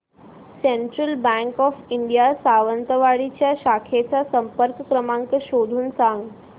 central bank of India Sawantwadi च्या शाखेचा संपर्क क्रमांक शोधून सांग